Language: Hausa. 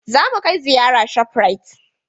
Zamu kai ziyara shaprait